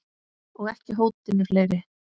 Og ekki hótinu fleiri.